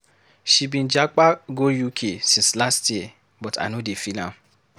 She been japa go UK since last year but I no dey feel am.